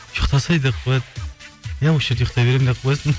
ұйықтасай деп қояды иә осы жерде ұйықтай беремін деп қоясың